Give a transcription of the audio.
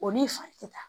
O n'i fa tɛ taa